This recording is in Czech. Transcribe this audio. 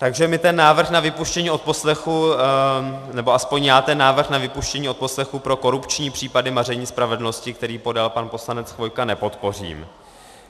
Takže my ten návrh na vypuštění odposlechů, nebo alespoň já ten návrh na vypuštění odposlechů pro korupční případy maření spravedlnosti, který podal pan poslanec Chvojka, nepodpořím.